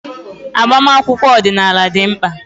Agbamakwụkwọ ọdịnala dị mkpa.